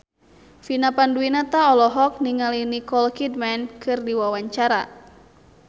Vina Panduwinata olohok ningali Nicole Kidman keur diwawancara